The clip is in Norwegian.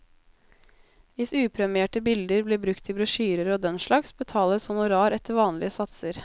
Hvis upremierte bilder blir brukt til brosjyrer og den slags, betales honorar etter vanlige satser.